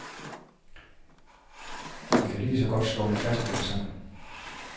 Vi kan lige så godt slå det fast med det samme.